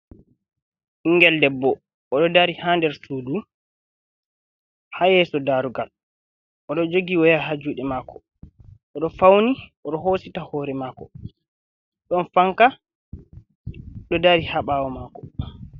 Ɓingel debbo o ɗo dari haa der sudu haa yeso daarugal, o ɗo joogi woya haa juuɗe mako, o ɗo fauni o ɗo hosita hore mako, ɗon fanka ɗo dari haa ɓawo mako.